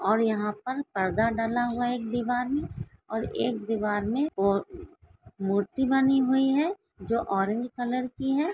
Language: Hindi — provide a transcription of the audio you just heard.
और यहाँ पर पर्दा डला हुआ है एक दीवार मे और एक दीवार मे अह मूर्ति बनी हुई है जो ऑरेंज कलर की है।